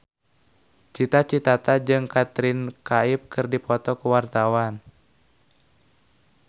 Cita Citata jeung Katrina Kaif keur dipoto ku wartawan